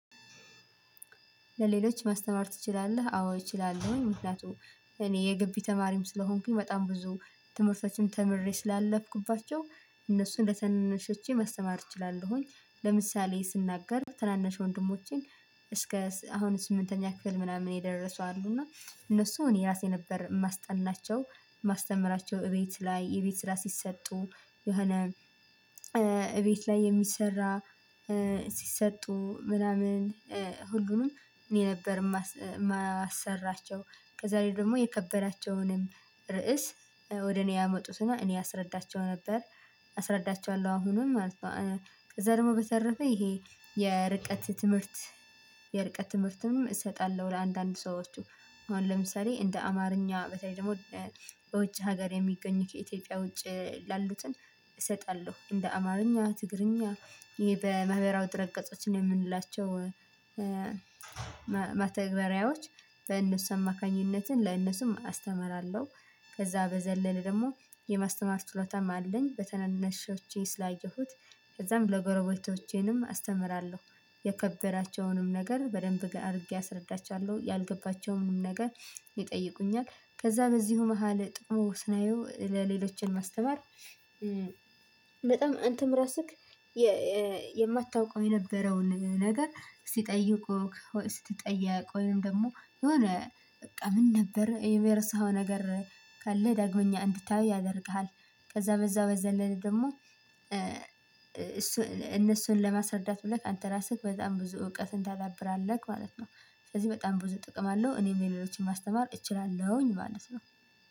ለሌሎች ማስተማር ትችላለህ አዎ እችላለሁኝ ምክንያቱም እኔ የግቢ ተማሪም ስለሆንኩኝ በጣም ብዙ ትምህርቶችን ተምሬ ስላለፍኩባቸው እነሱን ለተናናሾቼ ማስተማር እችላለሁኝ። ለምሳሌ ስናገር ተናናሽ ወንድሞቼን እስከ አሁን ስምንተኛ ክፍል ምናምን የደረሱ አሉ እና እነሱ እኔ እራሴ ነበር ማስጠናቸው። ማስተምራቸው እቤት ላይ የቤት ስራ ስሰጡ የሆነ እቤት ላይ የሚሰራ ስሰጡ ምናምን ሁሉንም እኔ ነበር የማሰራቸው ከዛ ላይ ደግሞ የከበራቸውንም ርዕስ ወደ እኔ ያመጡትና እኔ አስረዳቸው ነበር። አስረዳቸዋለሁ አሁንም ማለት ነው። ከዛ ደግሞ በተረፈ ይሄ የርቀት ትምህርት የርቀት ትምህርትም እሰጣለሁ ለአንዳንድ ሰዎቹ። አሁን ለምሳሌ እንደ አማርኛ በተለይ ደግሞ በውጭ ሀገር የሚገኝ ከኢትዮጵያ ውጭ ላሉትን እንደ አማርኛ ትግርኛ ይሄ በመህበራዊ ድረገፆች ነው የምንላቸው መተግበሪያዎች በእነሱ አማካኝነት ለእነሱም አስተምራለሁ። ከዛ በዘለለ ደግሞ የማስተማር ችሎታም አለኝ። በተናናሾቼ ስላየሁት ከዛም ለጎረቤቶቼንም አስተምራለሁ። የከበራቸውንም ነገር በደንብ አድርጌ አስረዳችዋለሁ ያልገባቸውንም ነገር ይጠይቁኛል ከዛ በዚሁ መሃል ጥቅሙ ስናየው ለሌሎችን ማስተማር። በጣም አንተም እራስህ የማታውቀው የነበረውን ነገር ሲጠይቁክ ስትጠየቅ ወይም ደግሞ የሆነ በቃ ምን ነበር ይሄ የረሳው ነገር ካለ ዳግመኛ እንድታዩ ያደርግሃል። ከዛ በዛ በዘለለ ደግሞ እነሱን ለማስረዳት ብለህ አንተ ራስህ በጣም ብዙ እውቀትን ታዳብራለህ ማለት ነው። ስለዚህ በጣም ብዙ ጥቅም አለው እኔም ሌሎችን ማስተማር እችላለሁኝ ማለት ነው።